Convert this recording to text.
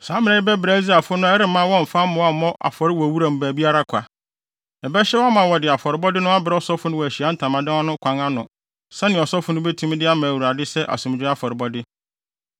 Saa mmara yi bɛbra Israelfo no a ɛremma wɔmfa mmoa mmɔ afɔre wɔ wuram baabiara kwa. Ɛbɛhyɛ wɔn ama wɔde afɔrebɔde no abrɛ ɔsɔfo no wɔ Ahyiae Ntamadan no kwan ano sɛnea ɔsɔfo no betumi de ama Awurade sɛ asomdwoe afɔrebɔde.